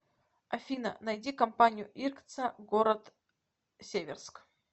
афина найди компанию иркца город северск